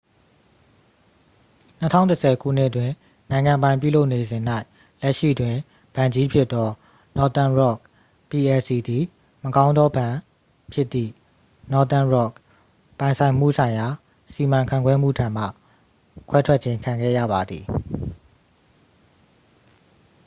၂၀၁၀ ခုနှစ်တွင်၊ နိုင်ငံပိုင်ပြုလုပ်နေစဉ်၌၊ လက်ရှိတွင် ဘဏ်ကြီးဖြစ်သော northern rock plc သည် 'မကောင်းသောဘဏ်'ဖြစ်သည့် northern rock ပိုင်ဆိုင်မှုဆိုင်ရာစီမံခန့်ခွဲမှု ထံမှ ခွဲထွက်ခြင်း ခံခဲ့ရပါသည်။